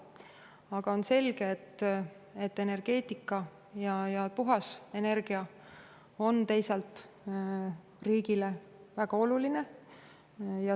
Aga on selge, et energeetika ja puhas energia on riigile väga olulised.